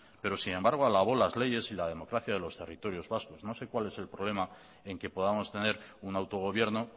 pero sin embargo alabó las leyes y la democracia de los territorios vascos no sé cuál es el problema en que podamos tener un autogobierno